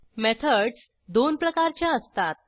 methods दोन प्रकारच्या असतात